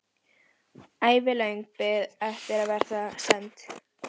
Ævilöng bið eftir að verða send.